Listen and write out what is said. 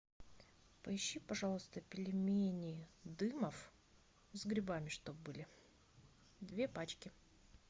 поищи пожалуйста пельмени дымов с грибами чтоб были две пачки